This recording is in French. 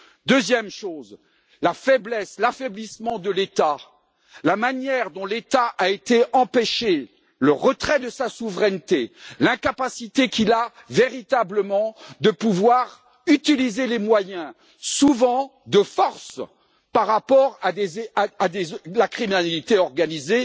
Deuxième chose l'affaiblissement de l'État, la manière dont l'État a été empêché, le retrait de sa souveraineté, l'incapacité qu'il a véritablement de pouvoir utiliser les moyens, souvent de force, à l'égard de la criminalité organisée.